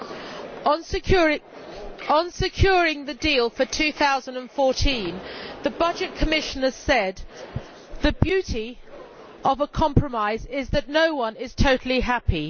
Madam President, on securing the deal for 2014 the Budget Commissioner said the beauty of a compromise is that no one is totally happy.